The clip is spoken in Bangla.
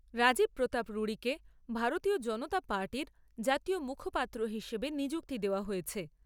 রাজীব প্রতাপ রুড়ীকে ভারতীয় জনতা পার্টির জাতীয় মুখপাত্র হিসেবে নিযুক্তি দেওয়া হয়েছে।